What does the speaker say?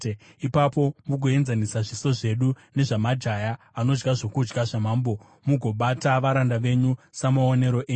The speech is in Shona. Ipapo mugoenzanisa zviso zvedu nezvamajaya anodya zvokudya zvamambo mugobata varanda venyu samaonero enyu.”